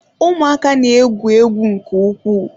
Ụmụaka na-egwu egwu nke ukwuu.